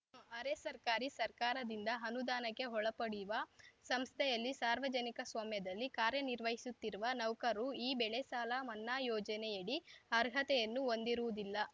ಅರೆ ಸರ್ಕಾರಿ ಸರ್ಕಾರದಿಂದ ಅನುದಾನಕ್ಕೆ ಒಳಪಡಿವ ಸಂಸ್ಥೆಯಲ್ಲಿ ಸಾರ್ವಜನಿಕ ಸ್ವಾಮ್ಯದಲ್ಲಿ ಕಾರ್ಯನಿರ್ವಹಿಸುತ್ತಿರುವ ನೌಕರು ಈ ಬೆಳೆಸಾಲ ಮನ್ನಾ ಯೋಜನೆಯಡಿ ಅರ್ಹತೆಯನ್ನು ಹೊಂದಿರುವುದಿಲ್ಲ